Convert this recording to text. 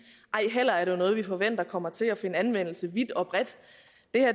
ej heller er det noget vi forventer kommer til at finde anvendelse vidt og bredt